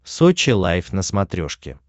сочи лайв на смотрешке